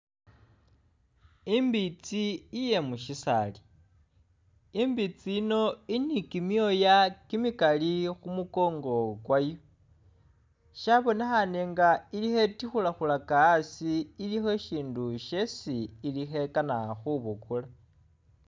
Imbitsi iye musisaali imbitsi yiino ili ni kimyoya kimikaali khumunkongo kwayo shibonekhane nga eli khetikhukhulaka asi ili isindu shesi ili khekana khubukula